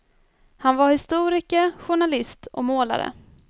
Han var historiker, journalist och målare.